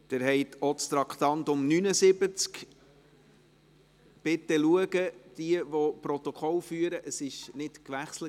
Sie haben auch die Finanzmotion Traktandum 79 angenommen, mit 120 Ja- gegen 3 Nein-Stimmen bei 9 Enthaltungen.